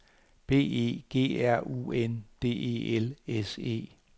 B E G R U N D E L S E